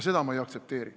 Seda ma ei aktsepteeri.